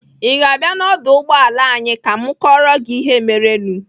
Ị ga-abịa n'ọdụ ụgbọala anyị ka m kọọrọ gị ihe merenụ?